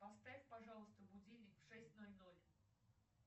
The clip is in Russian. поставь пожалуйста будильник в шесть ноль ноль